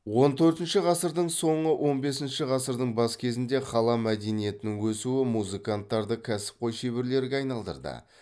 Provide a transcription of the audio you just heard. он төртінші ғасырдың соңы он бесінші ғасырдың бас кезінде қала мәдениетінің өсуі музыканттарды кәсіпқой шеберлерге айналдырды